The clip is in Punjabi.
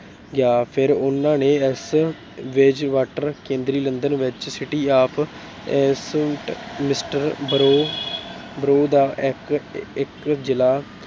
ਗਿਆ। ਫਿਰ ਉਨ੍ਹਾਂ ਨੇ ਇਸ ਦੇ ਵੇਜ਼ਵਾਟਰ ਕੇਂਦਰੀ ਲੰਡਨ ਵਿੱਚ City of Westminster Borough ਦਾ ਇੱਕ ਜ਼ਿਲ੍ਹਾ